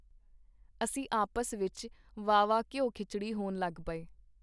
ਅਸੀਂ ਆਪਸ ਵਿਚ ਵਾਹ-ਵਾਹ ਘਿਓ-ਖਿਚੜੀ ਹੋਣ ਲੱਗ ਪਏ.